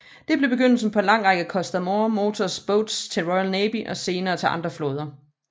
Det blev begyndelsen på en lang række Coastal Motor Boats til Royal Navy og senere til andre flåder